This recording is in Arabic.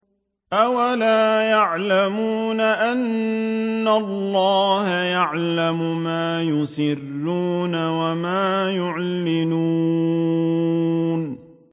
أَوَلَا يَعْلَمُونَ أَنَّ اللَّهَ يَعْلَمُ مَا يُسِرُّونَ وَمَا يُعْلِنُونَ